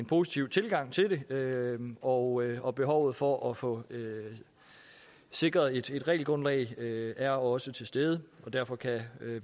positiv tilgang til det og og behovet for at få sikret et regelgrundlag er også til stede derfor kan